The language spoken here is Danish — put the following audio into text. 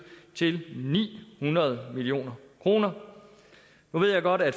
til ni hundrede million kroner nu ved jeg godt at